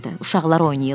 Uşaqlar oynayırlar.